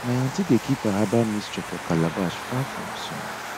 my aunty dey keep her herbal mixture for calabash far from sun